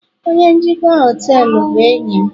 onye njikwa họtelu bụ enyi m